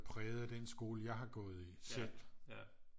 Præget af den skole jeg har gået i selv